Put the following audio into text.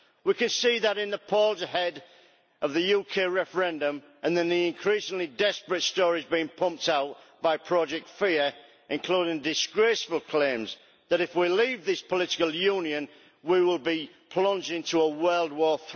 We can see that in the polls ahead of the UK referendum and in the increasingly desperate stories being pumped out by Project Fear, including disgraceful claims that if we leave this political union we will be plunged into a third world war.